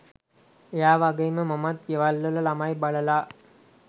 එයා වගේම මමත් ගෙවල්වල ළමයි බලලා